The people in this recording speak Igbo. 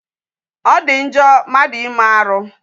Ọ dị njọ mmadụ ime arụ.